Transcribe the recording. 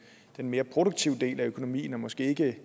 mere produktive del af økonomien og måske ikke